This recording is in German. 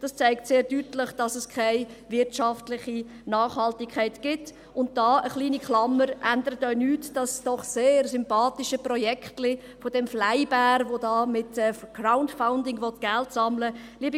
Dies zeigt sehr deutlich, dass es keine wirtschaftliche Nachhaltigkeit gibt und daran – eine kleine Klammer – ändert auch das sehr sympathische Projektchen dieses «FlyBair» nichts, welches mit Crowdfunding Geld sammeln will.